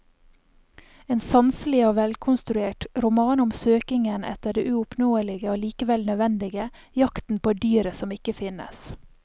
En sanselig og velkonstruert roman om søkingen etter det uoppnåelige og likevel nødvendige, jakten på dyret som ikke finnes.